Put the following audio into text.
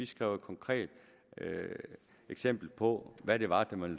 skrev et konkret eksempel ind på hvad det var man